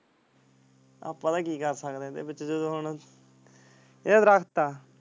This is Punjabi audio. ਆ ਪਤਾ ਕਿ ਕਰਦੇ ਸਕਦੇ ਹ ਇਦ੍ਹੇ ਵਿਚ ਜਿਵੇ ਹੁਣ ਯਰ ਦਰੱਖਤ ਆ।